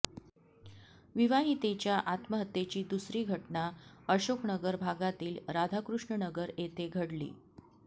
विवाहितेच्या आत्महत्येची दुसरी घटना अशोकनगर भागातील राधाकृष्णनगर येथे घडली